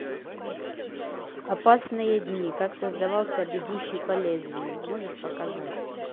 опасные дни как создавался бегущий по лезвию можешь показать